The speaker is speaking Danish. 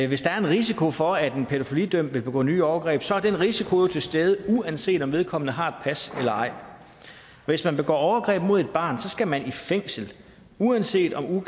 hvis der er en risiko for at en pædofilidømt vil begå nye overgreb så er den risiko jo til stede uanset om vedkommende har et pas eller ej hvis man begår overgreb mod et barn skal man i fængsel uanset om